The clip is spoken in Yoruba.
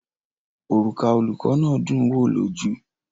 Òrùka olùkọ́ náà dùn ún wo lójú.